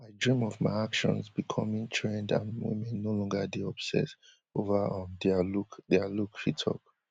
i dream of my actions becoming trend and women no longer dey obsess ova um dia look dia look she tok